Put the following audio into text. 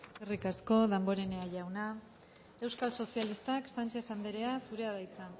eskerrik asko damborenea jauna euskal sozialistak sánchez andrea zurea da hitza